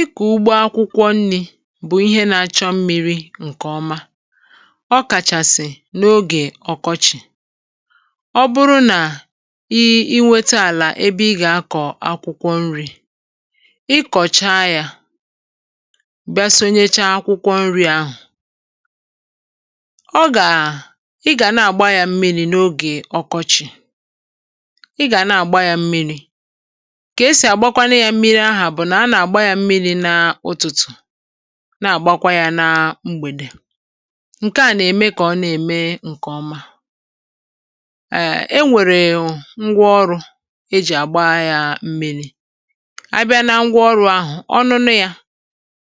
ikù ugbọ akwụkwọ nri̇ bụ̀ ihe na-achọ mmiri̇ ǹkè ọma ọ kàchàsị̀ n’ogè ọkọchị̀ ọ bụrụ nà i inwetȧ àlà ebe ị gà-akọ̀ akwụkwọ nri̇ ị kọ̀chaa yȧ bịa sonyecha akwụkwọ nri̇ ahụ̀ ọ gà à ị gà na-àgba yȧ mmiri̇ n’ogè ọkọchị̀ ị gà na-àgba yȧ mmiri̇ ka esi agbakwanu ya mmiri à bụ na ana agba ya mmiri n' ụtụtụ na agbakwa ya na mgbede nke a nà-eme kà ọ nà-eme ǹkè ọma err enwèrè hụ̀ ngwa ọrụ̇ e jì àgba ya m̀miri abɪ́á ná ngwa ọrụ̇ ahụ̀ ọṅụṅụ ya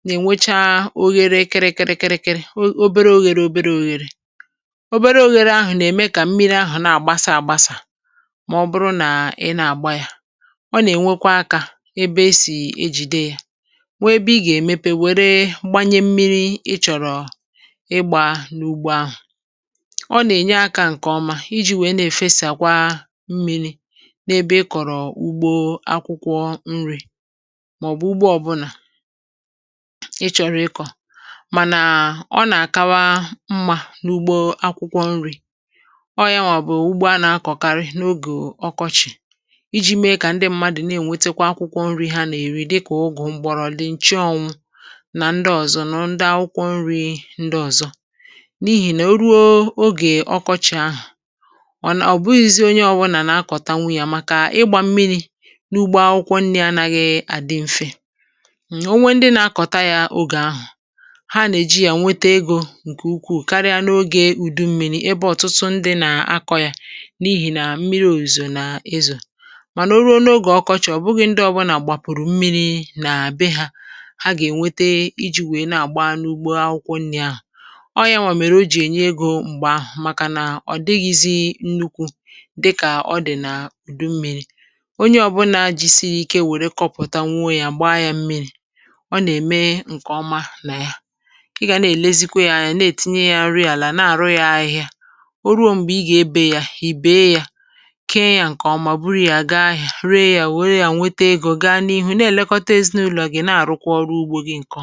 nà-ènwecha oghere kịrị kịrị kịrị obere oghėrė obere òghèrè obere oghėrė ahụ̀ nà-ème kà mmiri ahụ̀ na-àgbasa àgbasà mà ọ bụrụ nà ị na-àgba ya ona enwekwa aka ebe esi ejide ya nwee ebe ị gà-èmepe wère gbanye mmiri ị chọ̀rọ̀ ịgbȧ n’ugbo ahụ̀ ọ nà-ènye akȧ ǹkè ọma iji̇ wèe na-èfesì àkwa mmiri̇ n’ebe ị kọ̀rọ̀ ugbȯ akwụkwọ nri̇ màọ̀bụ̀ ugbo ọ̀bụlà ị chọ̀rọ̀ ịkọ̀ mànà ọ nà-àkawa mmà n’ugbo akwụkwọ nri̇ ọọ̀ ya nwàbụ̀ ugbo a nà-akọ̀karị n’ogè ọkọchị̀ iji̇ mee kà ndị mmadụ̀ na-ènwetekwa akwụkwọ nri̇ hà nà eri dịka ugu, mgborodi, nchuanwu na ndi ọzọ̇ nà ndị akwụkwọ nri̇ ndị ọ̀zọ n’ihì nà o ruo ogè ọkọchị̀ ahụ̀ ọ̀ nà òbuizie onye ọbụlà nà-akọ̀ta nwunya à màkà ịgbȧ mmiri̇ n’ugbo akwụkwọ nri̇ anȧghị̇ àdị mfe, onwe ndị nà-akọ̀ta yȧ ogè ahụ̀ ha nà-èji yȧ nwete egȯ ǹkè ukwuù karịa n’ogè ùdu mmiri ebe ọ̀tụtụ ndị nà-akọ̇ yȧ n’ihì nà mmiri̇ òzùrù nà ezo, mana o ruo n'oge ọkọchị obughi ndi obuna gbapuru mmiri na be ha ha gà-ènwete iji̇ wèe na-àgba n’ugbo akwụkwọ nrị̇ ahụ̀ ọọ̀ ya nwàmèrè o jì ènye egȯ m̀gbè ahụ̀ màkà nà ọ̀ dịghịzị nnukwu̇ dịkà ọ dị̀ nà ùdu mmi̇ri̇ onye ọ̀bụla jisiri ike wère kọpụ̀ta nwuo ya gbaa ya mmiri̇ ọ nà-ème ǹkè ọma nà ya ị gà na-èlezikwa ya anya na-ètinye ya rie àlà na-àrụ ya ahịhịa o ruo m̀gbè ị gà-ebe ya ì bèe ya kee ya ǹkè ọma bụrụ ya àga rie ya wère ya nwete egȯ ihe à gị na-elekọta ezinụlọ gị na-arụkwa ọrụ ugbo gị ǹkọ.